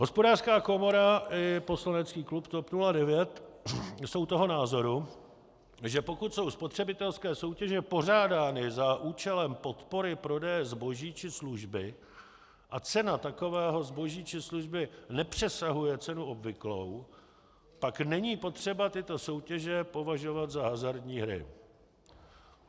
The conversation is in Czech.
Hospodářská komora i poslanecký klub TOP 09 jsou toho názoru, že pokud jsou spotřebitelské soutěže pořádány za účelem podpory prodeje zboží či služby a cena takového zboží či služby nepřesahuje cenu obvyklou, pak není potřeba tyto soutěže považovat za hazardní hry.